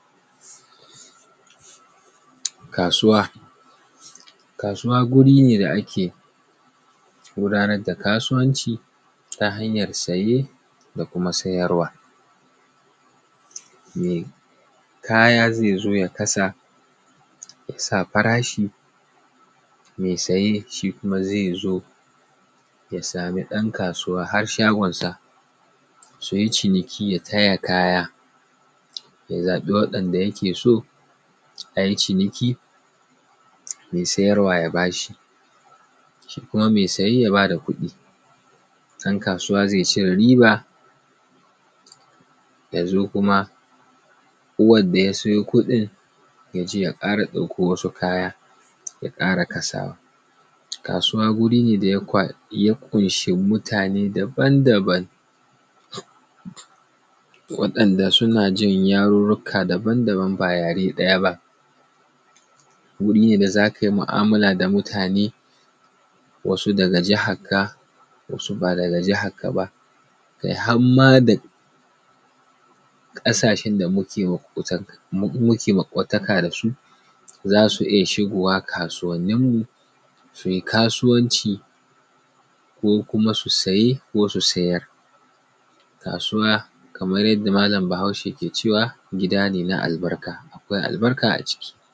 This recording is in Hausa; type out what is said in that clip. Kasuwa. Kasuwa wuri ne da ake gudanar da kasuwanci ta hanyar siye da kuma siyarwa. Mai kaya zai zo ya kasa ya sa farashi, mai siye shi kuma zai zo ya samu ɗan kasuwa har shagonsa su yi ciniki ya taya kaya, ya zaɓi waɗanda yake so a yi ciniki mai sayarwa ya ba shi, shi kuma mai siye ya ba da kuɗi. Ɗan kasuwa zai cire riba ya zo kuma uwar da ya siyo kuɗin ya je ya ƙara ɗauko wasu kayan ya ƙara kasawa. Kasuwa wuri ne da ya ƙunsh mutane daban daban waɗanda suna ji yarurruka daban daban ba yare ɗaya ba. Wuri ne da za ka yi mu'amula da mutane wasu daga jaharka, wasu ba daga jakarka ba, kai har ma da ƙasashen da muke maƙwataka da su za su iya shigowa kasuwanin mu su yi kasuwanci, ko kuma su siye ko su siyar. Kasuwa kamar yadda malam bahaushe yake cewa gida ne na albarka, akwai albarka a ciki.